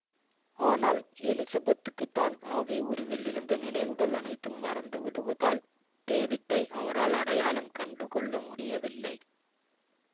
ஆனால் எலிசபெத்துக்கு தான் ஆவி உருவில் இருந்த நினைவுகள் அனைத்தும் மறந்து விடுவதால் டேவிட்டை அவரால் அடையாளம் கண்டு கொள்ள முடியவில்லை